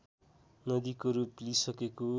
नदीको रूप लिइसकेको